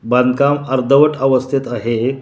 बांधकाम अर्धवट अवस्थेत आहे हे.